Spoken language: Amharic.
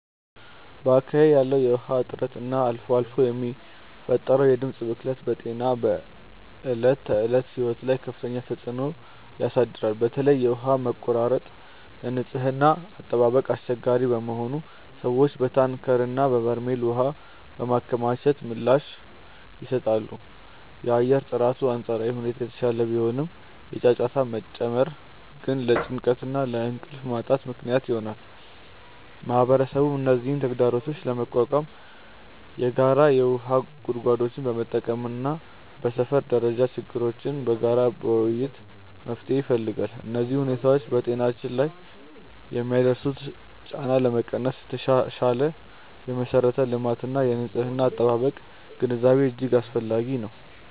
በአካባቢዬ ያለው የውሃ እጥረት እና አልፎ አልፎ የሚፈጠረው የድምፅ ብክለት በጤናና በዕለት ተዕለት ሕይወት ላይ ከፍተኛ ተጽዕኖ ያሳድራል። በተለይ የውሃ መቆራረጥ ለንጽህና አጠባበቅ አስቸጋሪ በመሆኑ ሰዎች በታንከርና በበርሜል ውሃ በማከማቸት ምላሽ ይሰጣሉ። የአየር ጥራቱ በአንጻራዊ ሁኔታ የተሻለ ቢሆንም፣ የጫጫታ መጨመር ግን ለጭንቀትና ለእንቅልፍ ማጣት ምክንያት ይሆናል። ማህበረሰቡም እነዚህን ተግዳሮቶች ለመቋቋም የጋራ የውሃ ጉድጓዶችን በመጠቀምና በሰፈር ደረጃ ችግሮችን በጋራ በመወያየት መፍትሄ ይፈልጋል። እነዚህ ሁኔታዎች በጤናችን ላይ የሚያደርሱትን ጫና ለመቀነስ የተሻሻለ የመሠረተ ልማትና የንጽህና አጠባበቅ ግንዛቤ እጅግ አስፈላጊ ነው።